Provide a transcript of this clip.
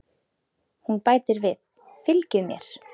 Hún bætir við: Fylgið mér